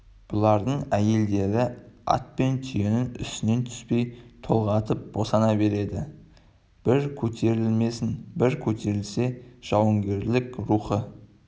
бұлардың әйелдері ат пен түйенің үстінен түспей толғатып босана береді бір көтерілмесін бір көтерілсе жауынгерлік рухы